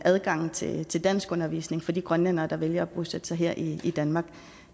adgangen til til danskundervisning for de grønlændere der vælger at bosætte sig her i danmark